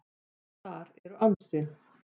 Þar eru ansi